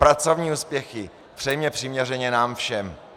Pracovní úspěchy přejme přiměřeně nám všem.